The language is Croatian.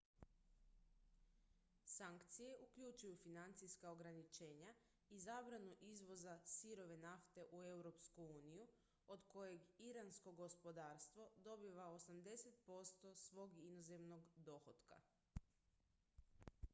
sankcije uključuju financijska ograničenja i zabranu izvoza sirove nafte u europsku uniju od kojeg iransko gospodarstvo dobiva 80 % svog inozemnog dohotka